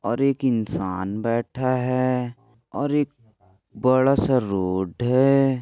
और एक इन्सान बैठा है और एक बडा सा रोड है।